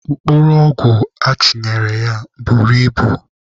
Mkpụrụ ọgwụ achịnyere ya buru ibu.